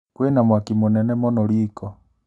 Kwĩna mwaki mũnene mũno riko